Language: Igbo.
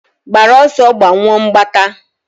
gbara ọsọ, gbanyụọ mgbata!.